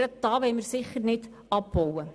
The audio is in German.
Gerade hier wollen wir sicher nichts abbauen.